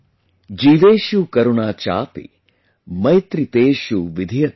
JeeveshuKarunaChapi, MaitriTeshuVidhiyatam